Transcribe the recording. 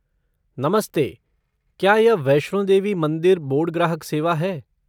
नमस्ते! क्या यह वैष्णो देवी मंदिर बोर्ड ग्राहक सेवा है?